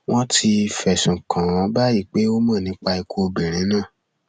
wọn ti ti fẹsùn kàn án báyìí pé ó mọ nípa ikú obìnrin náà